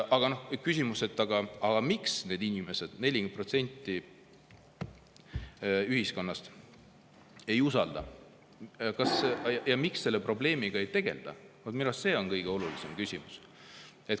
Aga küsimus, miks need inimesed, 40% ühiskonnast, ei usalda ja miks selle probleemiga ei tegelda, on minu arust kõige olulisem küsimus.